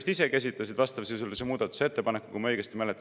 Nad vist ise esitasid vastavasisulise muudatusettepaneku, kui ma õigesti mäletan.